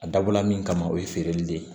A dabɔla min kama o ye feereli de ye